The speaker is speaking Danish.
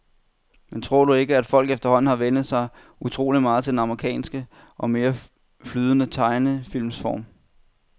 Men tror du ikke, at folk efterhånden har vænnet sig utrolig meget til den amerikanske og mere flydende tegnefilmsform?